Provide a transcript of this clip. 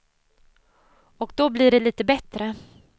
Och då blir det lite bättre.